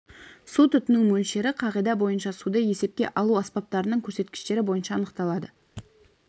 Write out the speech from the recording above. су тұтыну мөлшері қағида бойынша суды есепке алу аспаптарының көрсеткіштері бойынша анықталады